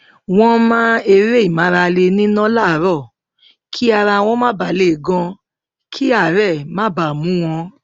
wọn máa ń eré ìmárale nínà láàárọ kí ara wọn má ba lè gan kí àárẹ má ba mú wọn